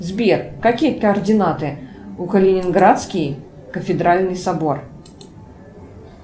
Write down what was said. сбер какие координаты у калининградский кафедральный собор